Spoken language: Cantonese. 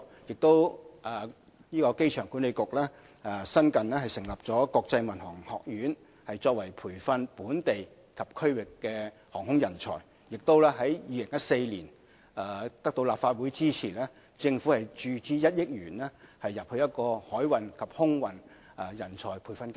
機場管理局也新近成立香港國際航空學院，培訓本地及區域航空人才；在2014年，政府得到立法會的支持，注資成立1億元的海運及空運人才培訓基金。